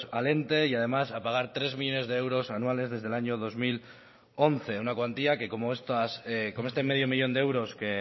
al ente y además a pagar tres millónes de euros anuales desde el año dos mil once una cuantía que como estas que como este medio millón de euros que